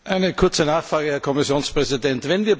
Eine kurze Nachfrage, Herr Kommissionspräsident.